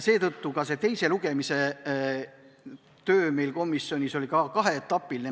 Ka teise lugemise eelne töö komisjonis oli kaheetapiline.